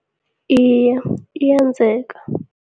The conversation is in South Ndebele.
Iye, iyenzeka.